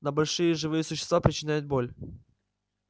но большие живые существа причиняют боль